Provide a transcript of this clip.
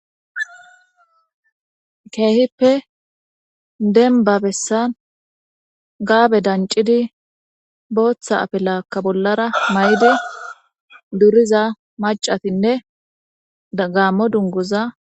Keehippe denba bessan gaabe dancidi booththa afilaakka bollara mayde duriza macatinne gaammo dunguza